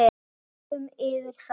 Við rúllum yfir þá!